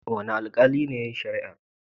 Wane aikali ne yayi shari'ar?